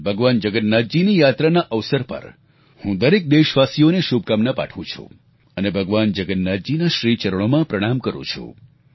ભગવાન જગન્નાથજીની યાત્રાના અવસર પર હું દરેક દેશવાસીઓને શુભકામના પાઠવું છું અને ભગવાન જગન્નાથજીના શ્રીચરણોમાં પ્રણામ કરું છું